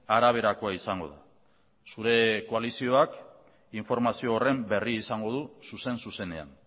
araberakoa izango da zure koalizioak informazio horren berri izango du zuzen zuzenean